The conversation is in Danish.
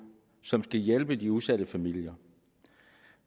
som skal hjælpe de udsatte familier